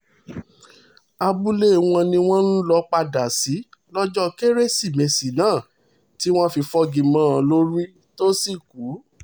abúlé wọn ni wọ́n lọ ń padà sí lọ́jọ́ kérésìmesì náà táwọn fi fogi mọ́ ọn lórí tó sì kú